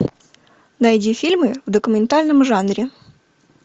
найди фильмы в документальном жанре